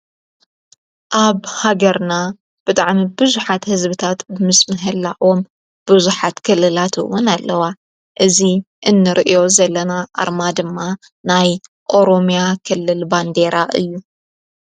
ኣብ ሃገርና ብጥዕሚ ብዙኃት ሕዝብታት ብምስምሀላእዎም ብዙኃት ክልላትውን ኣለዋ እዙይ እንርእዮ ዘለና ኣርማ ድማ ናይ ኦሮምያ ክልል ባንዴራ እዩ፡፡